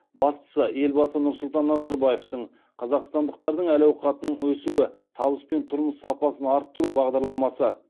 бастысы елбасы нұрсұлтан назарбаевтың қазақстандықтардың әл ауқатының өсуі табыс пен тұрмыс сапасын арттыру бағдарламасы